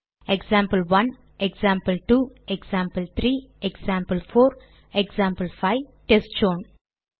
example 1 example 2 example 3 example 4 example 5 test zone